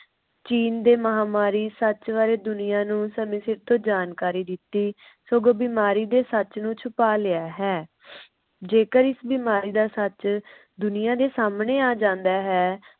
ਚੀਨ ਦੇ ਮਹਾਮਾਰੀ ਸੱਚ ਬਾਰੇ ਦੁਨੀਆਂ ਨੂੰ ਸਾਨੂੰ ਸ਼ੁਰੂ ਤੋਂ ਜਾਣਕਾਰੀ ਦਿਤੀ ਸਗੋਂ ਬਿਮਾਰੀ ਦੇ ਸੱਚ ਨੂੰ ਛੁਪਾ ਲਿਆ ਹੈ। ਜੇਕਰ ਇਸ਼ ਬਿਮਾਰੀ ਦਾ ਸੱਚ ਦੁਨੀਆਂ ਦੇ ਸਮਣੇ ਆ ਜਾਂਦਾ ਹੈ।